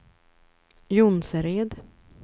Jonsered